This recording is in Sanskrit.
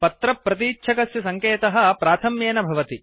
पत्र प्रतीच्छकस्य सङ्केतः प्राथम्येन भवति